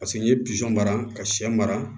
Paseke n'i ye mara ka shɛ mara